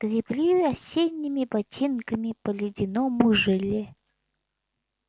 гребли осенними ботинками по ледяному желе